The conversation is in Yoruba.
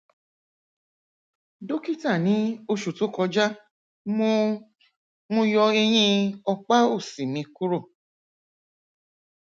ṣé àwọn ìsíkí yìí tàbí ìsíkí yìí lè wà ní onírúurú àgbègbè bíi èyí